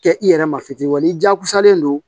Kɛ i yɛrɛ ma fitiriw wa n'i jagosalen don